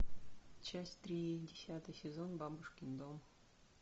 часть три десятый сезон бабушкин дом